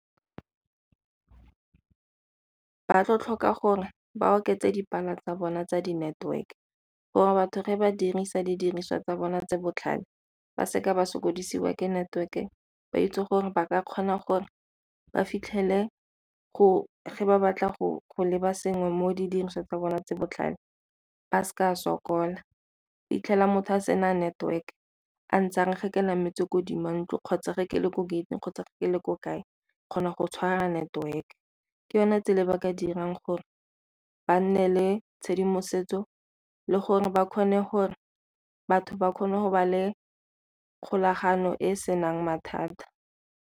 Ba tlo tlhoka gore ba oketse tsa bona tsa di-network gore batho fa ba dirisa didiriswa tsa bona tse botlhale ba seka ba sokodisiwa ke network-e ba itse gore ba ka kgona gore ba fitlhele fa ba batla go leba sengwe mo di dirisweng tsa bona tse botlhale ba seka ba sokola. 'Itlhela motho a sena a network a ntse are fa ke nametse ko 'dimo ntlo kgotsa fa ke le ko gate-ing kgotsa go ke le ko kae, kgona go tshwara network. Ke yone tsela e ba ka dirang gore ba nne le tshedimosetso le gore ba kgone gore, batho ba kgone go ba le kgolagano e e senang mathata.